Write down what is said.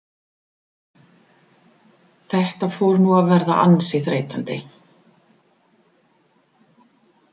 Þetta fór nú að verða ansi þreytandi.